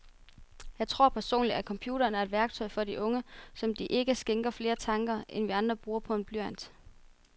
Jeg tror personligt, at computeren er et værktøj for de unge, som de ikke skænker flere tanker, end vi andre bruger på en blyant.